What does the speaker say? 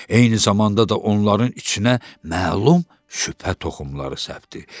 Eyni zamanda da onların içinə məlum şübhə toxumları səpdi.